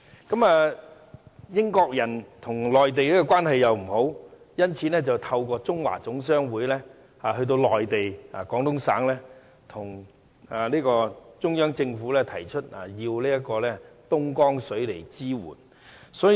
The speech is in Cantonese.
當時，英國人和內地關係欠佳，因此透過中華總商會的代表前往內地，向中央政府提出要求廣東省東江水支援。